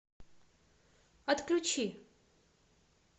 отключи